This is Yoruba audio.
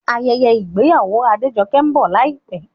Ayẹyẹ ìgbéyàwó Adejoke ń bọ̀ láìpẹ́